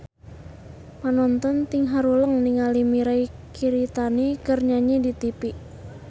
Panonton ting haruleng ningali Mirei Kiritani keur nyanyi di tipi